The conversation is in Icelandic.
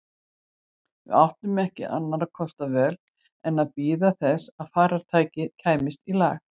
Við áttum ekki annarra kosta völ en að bíða þess að farartækið kæmist í lag.